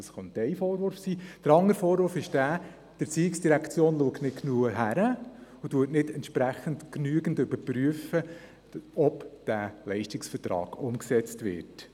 Der andere Vorwurf könnte sein, dass die ERZ nicht genau hinsieht und entsprechend nicht genügend überprüft, ob dieser Leistungsvertrag umgesetzt wird.